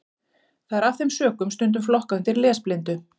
Það er af þeim sökum stundum flokkað undir lesblindu.